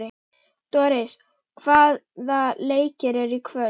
Doris, hvaða leikir eru í kvöld?